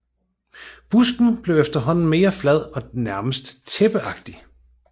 Busken bliver efterhånden mere flad og nærmest tæppeagtig